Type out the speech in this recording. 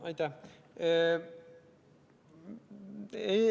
Aitäh!